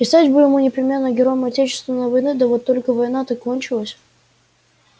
и стать бы ему непременно героем отечественной войны да вот только война-то кончилась